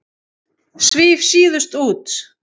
Svíf síðust út.